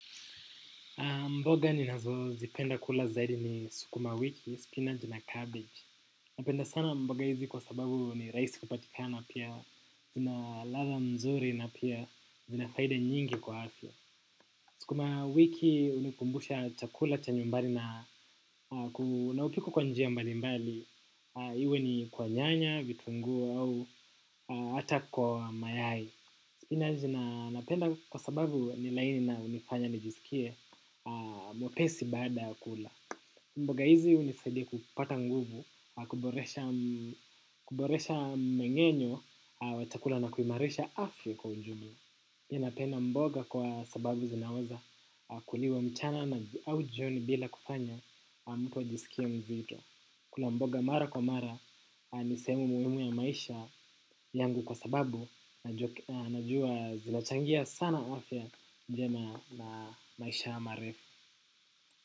Mboga ninazo zipenda kula zaidi ni sukuma wiki, spinach na kabeji. Napenda sana mboga hizi kwa sababu ni rahisi kupatika, pia zinaladha mzuri na pia zinafaida nyingi kwa afya. Sukuma wiki hunikumbusha chakula cha nyumbani na hupikwa kwa njia mbali mbali. Iwe ni kwa nyanya, vitunguu au hata kwa mayai. Spinachi napenda kwa sababu ni laini na hunifanya nijisikie mwepesi baada ya kula. Mboga hizi hunisaidia kupata nguvu, kuboresha mmeng'enyo wa chakula na kuimarisha afya kwa ujumla. Pia napenda mboga kwa sababu zinaweza kuliwa mchana na jioni bila kufanya mtu ajisikie mzito. Kula mboga mara kwa mara ni sehemu muhimu ya maisha yangu kwa sababu, najua zinachangia sana afya njema na maisha marefu.